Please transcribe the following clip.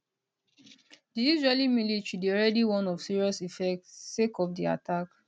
di israeli military dey already warn of serious effects sake of di attack